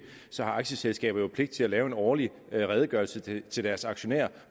så har aktieselskaber jo pligt til at lave en årlig redegørelse til deres aktionærer